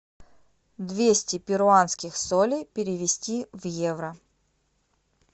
двести перуанских солей перевести в евро